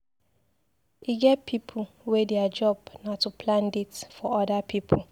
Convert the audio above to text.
E get pipu wey their job na to plan date for other pipu.